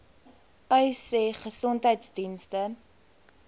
uys sê gesondheidsdienste